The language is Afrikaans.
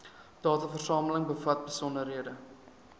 dataversameling bevat besonderhede